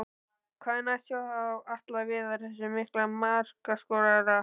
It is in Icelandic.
Hvað er næst hjá Atla Viðari, þessum mikla markaskorara?